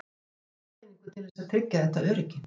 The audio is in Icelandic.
Hvað gerir almenningur til þess að tryggja þetta öryggi?